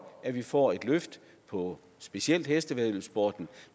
at vi får et løft på specielt hestevæddeløbssporten